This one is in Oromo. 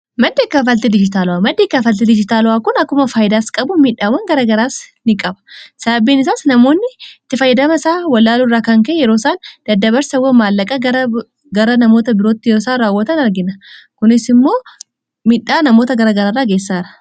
madda kaffaltii diijitaalawaa maddi kaffaalti diijitaalawaa kun akkuma faayidaas qabu midhaawwan garagaraas ni qaba sababiin isaas namoonni itti fayyadama isaa wallaalurraa kan ka'e yeroo isaan daddabarsawwan maallaqaa gara namoota birootti yeroosaan raawwatan argina kunis immoo midhaa namoota gara gararraa geessisaara